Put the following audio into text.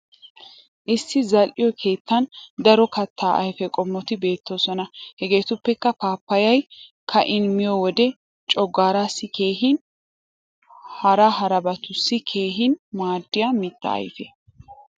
Issi zal'e keettan daro kattaa ayfe qommoti beettoosona. Hageetuppekka paappayay ka'in miyo wode coggaaraassi keehin hara harabatussi keehin maaddiya mitta ayfe.